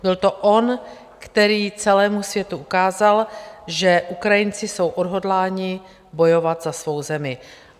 Byl to on, který celému světu ukázal, že Ukrajinci jsou odhodláni bojovat za svou zemi.